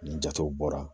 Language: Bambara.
Ni jatew bɔra